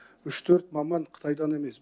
үш төрт маман қытайдан емес